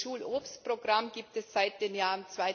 Das Schulobstprogramm gibt es seit dem Jahr